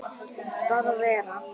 Bara vera.